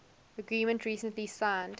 agreement recently signed